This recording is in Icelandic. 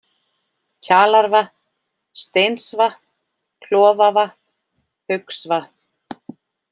Kjalarvatn, Steinsvatn, Klofavatn, Haugsvatn